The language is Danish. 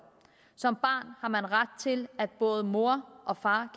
som barn har man ret til at både moren og faren